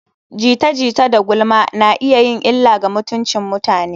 Jita-jita da gulma na iya yin illa ga mutuncin mutane.